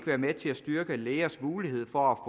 være med til at styrke lægers mulighed for at